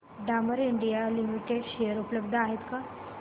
Dabur India limited share उपलब्ध आहेत का